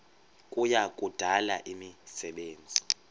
kuya kudala imisebenzi